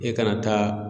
E kana taa